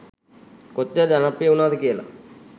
කොච්චර ජනප්‍රිය වුනාද කියලා.